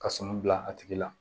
Ka sɔnni bila a tigi la